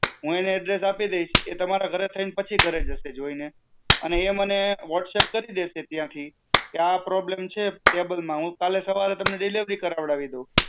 હું એને address આપી દેઈસ, એ તમારા ઘરે થઈન પછી ઘરે જાશે જોયીને. એ મને whatsapp કરી દેશે ત્યાંથી કે આ problem છે કેબલ માં, હું કાલે સવારે તમને delivery કરવાડી દેઉ.